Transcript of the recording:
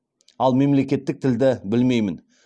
ал мемлекеттік тілді білмеймін